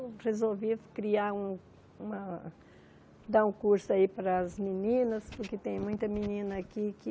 Resolvi criar um uma dar um curso aí para as meninas, porque tem muita menina aqui que...